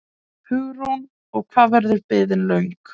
Hugrún: Og hvað verður biðin löng?